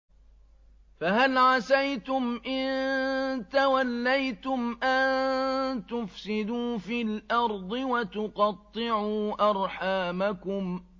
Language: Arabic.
فَهَلْ عَسَيْتُمْ إِن تَوَلَّيْتُمْ أَن تُفْسِدُوا فِي الْأَرْضِ وَتُقَطِّعُوا أَرْحَامَكُمْ